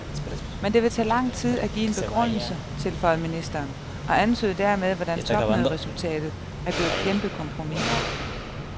Men det vil tage lang tid at give en begrundelse, tilføjede ministeren og antydede dermed, hvordan topmøderesultatet er blevet et kæmpekompromis.